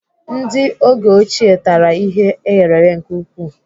Ndị oge ochie tara ihe eghereghe nke ukwuu.